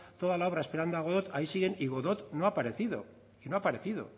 toda la obra esperando a godot ahí siguen y godot no ha aparecido